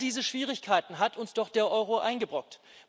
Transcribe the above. All diese Schwierigkeiten hat uns doch der Euro eingebrockt.